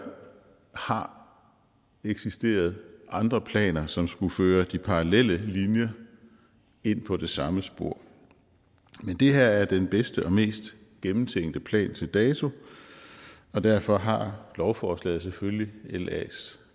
har eksisteret andre planer som skulle føre de parallelle linjer ind på det samme spor men det her er den bedste og mest gennemtænkte plan til dato og derfor har lovforslaget selvfølgelig las